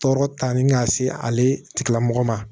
Tɔɔrɔ ta ni ka se ale tigilamɔgɔ ma